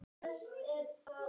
Hans verður mikið saknað.